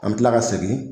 An bɛ tila ka segin